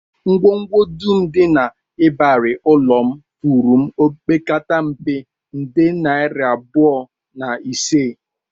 Ngwongwo dum dị n'ịbarị ụlọ m furu m opekata mpe, nde naira iri abụọ na ise